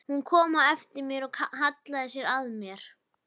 Hún kom á eftir mér og hallaði sér að mér.